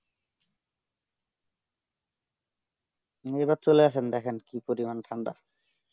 এই বার চলে আসেন দেখেন কি পরিমাণে ঠান্ডা